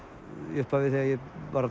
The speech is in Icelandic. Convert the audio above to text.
í upphafi þegar ég